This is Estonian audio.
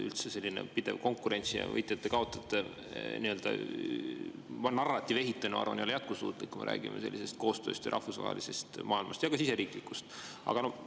Üldse, selline pidev konkurents ja võitjate-kaotajate narratiiv, ma arvan, ei ole eriti jätkusuutlik, kui me räägime koostööst, rahvusvahelisest maailmast ja ka siseriiklikust.